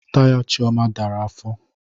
Taya Chioma dara afọ